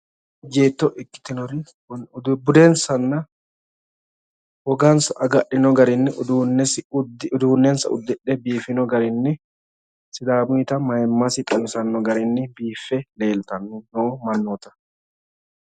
Ejjeetto ikkitinori budensanna wogansa agadhino garinni uduunnensa uddidhe biifino garinni sidaamuyiita mayiimmasi xawisanno garinni biiffe leeltanni noo mannoota.